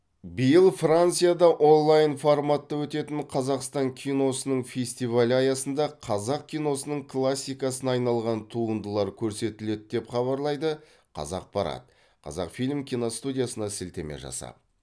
биыл францияда олайн форматта өтетін қазақстан киносының фестивалі аясында қазақ киносының классикасына айналған туындылар көрсетіледі деп хабарлайды қазақпарат қазақфильм киностудиясына сілтеме жасап